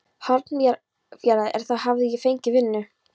Hornafjarðar, en þar hafði ég fengið vinnu.